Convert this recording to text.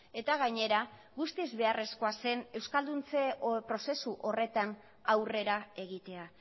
eta gainera guztiz beharrezkoa zen euskalduntze prozesu horretan aurrera egitea